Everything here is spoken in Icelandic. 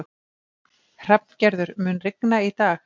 Hrafngerður, mun rigna í dag?